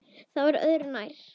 Það var öðru nær.